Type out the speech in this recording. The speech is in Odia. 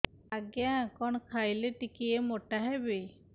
ଆଜ୍ଞା କଣ୍ ଖାଇଲେ ଟିକିଏ ମୋଟା ହେବି